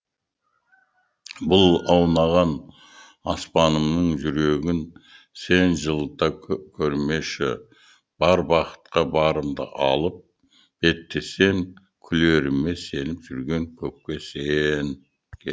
бұлт аунаған аспанымның жүрегінсен жылата көрмеші бар бақытқа барымды алып беттесем күлеріме сеніп жүрген көпке сен